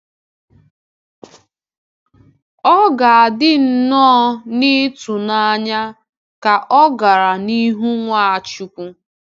Ọ ga-adị nnọọ n’ịtụnanya ka ọ gara n’ihu Nwachukwu.